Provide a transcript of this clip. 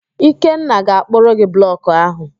Ikenna ga-akpụrụ gị blọkụ ahụ.